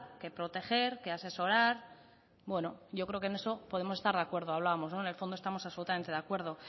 que proteger que asesorar bueno yo creo que en eso podemos estar de acuerdo hablábamos en el fondo estamos absolutamente de acuerdo